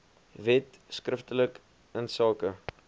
wet skriftelik insake